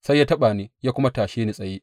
Sai ya taɓa ni ya kuma tashe ni tsaye.